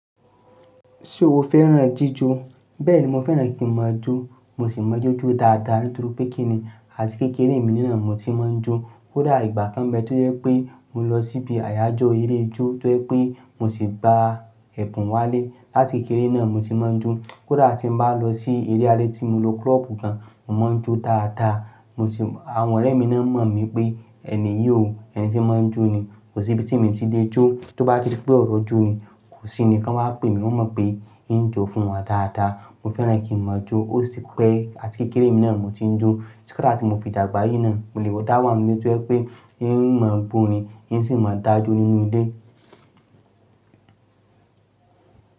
Ṣé o fẹ́ràn jíjó? Bẹ́ẹ̀ni, mo fẹ́ràn kí n má a jó, mo sì mo ijó ju dáadáa nítorí pé kíní àti kékeré mi nilẹ̀ mo ti máa ń jó. Kódà ìgbà kan bẹ́ tó jẹ́ wipé mo lọ síbi àyájọ́ eré jó tó jẹ́ wipé mo sì gba ẹ̀bùn wálé. Látì kékeré náà mo ti máa ń jó. Kódà tí n bá lọ sí eré alẹ́ tí mo lo klọ́ọ̀pù kan mo máa ń jó dáadáa. Mo sì-- àwọn ọ̀rẹ́ mi náà mọ̀ mí pé ènìyí ò, ẹni tí ń máa ń jó ni. Kò sí ibi tí mi ti lè jó, tó bá ti dé pé ọ̀rọ̀ jó ni, kò sí ni kọ́ n maa pé mi, wọ́n mọ̀ pé ń jó fún wọn dáadáa. Mo fẹ́ràn kí n má a jó, ó sì ti pẹ́ àti kékeré mi naa mo ti ń jó. Kódà tí mo fi dàgbà yìí náà mo lè wọ́ dá wa nu ile tó yẹ́ pé yín máa ń bo ni, hín sì máa ń dá jó nínú ilé.